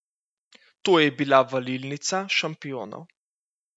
To je bila valilnica šampionov.